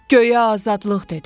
göyə azadlıq dedim.